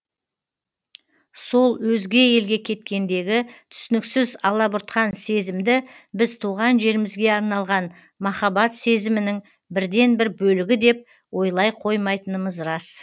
сол өзге елге кеткендегі түсініксіз алабұртқан сезімді біз туған жерімізге арналған махаббат сезімінің бірден бір бөлігі деп ойлай қомайтынымыз рас